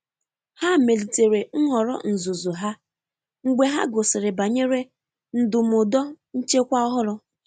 ha melitere nhọrọ nzụzụ ha mgbe ha gụsịrị banyere ndumụdo nchekwa ọhụrụ.